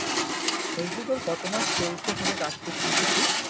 বলছি তোর কত মাস চলছে এইখানে কাজ করছিস যে তুই?